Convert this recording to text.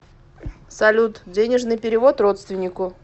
салют денежный перевод родственнику